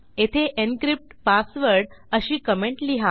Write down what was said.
येथे encrypt password अशी comment लिहा